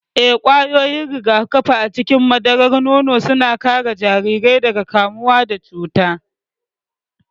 Ee, ƙwayoyin rigakafi a cikin madarar nono suna kare jarirai daga kamuwa da cuta.